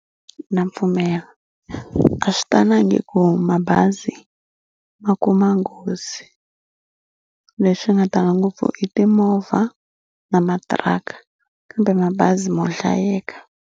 Na pfumela a swi talangi ku mabazi ma kuma nghozi leswi nga tala ngopfu i timovha na matiraka kambe mabazi mo hlayeka.